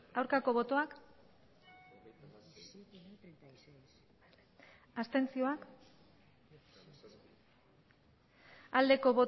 aurkako botoak abstentzioa